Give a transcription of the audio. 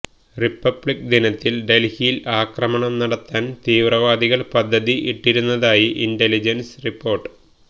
republic ദിനത്തില് ഡല്ഹിയില് ആക്രമണം നടത്താൻ തീവ്രവാദികള് പദ്ധതി ഇട്ടിരുന്നതായി ഇന്റലിജന്സ് റിപ്പോർട്ട്